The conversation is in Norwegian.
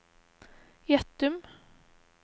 Gjettum